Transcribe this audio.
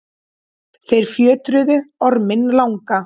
þeir fjötruðu orminn langa